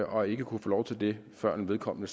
og ikke kunne få lov til det før vedkommende